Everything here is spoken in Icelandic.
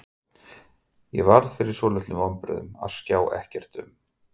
Ég varð fyrir svolitlum vonbrigðum að sjá ekkert um